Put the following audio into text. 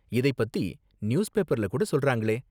இதைப்பத்தி நியூஸ், பேப்பர்ல கூட சொல்றாங்களே.